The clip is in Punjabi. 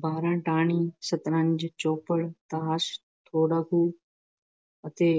ਬਾਰਾਂ ਟਾਹਣੀ, ਸਤਰੰਜ, ਚੌਪੜ, ਤਾਸ਼, ਬੋੜਾ ਖੂਹ ਅਤੇ